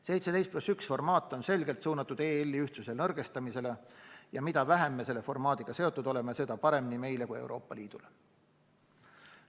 17+1 formaat on selgelt suunatud EL-i ühtsuse nõrgestamisele ja mida vähem me selle formaadiga seotud oleme, seda parem nii meile kui Euroopa Liidule.